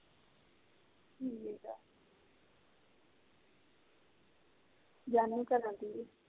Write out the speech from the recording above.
ਕਰਨਾ ਕਿ ਆ